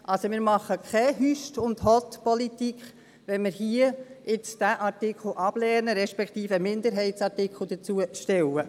» Wir machen keine «Hüst und Hott»-Politik, wenn wir diesen Artikel hier ablehnen, respektive einen Minderheitsartikel dazu stellen.